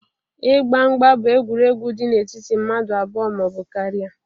Ịgba mgba bụ egwuregwu dị n'etiti mmadụ abụọ ma ọ bụ karịa